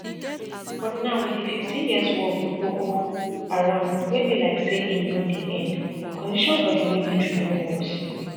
but now wit di fifteen years war wit boko haram wey be like say e no dey end condition for di military don worse